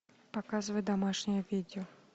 показывай домашнее видео